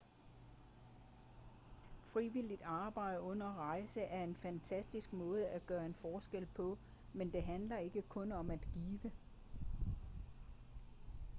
frivilligt arbejde under rejser er en fantastisk måde at gøre en forskel på men det handler ikke kun om at give